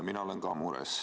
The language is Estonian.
Mina olen ka mures.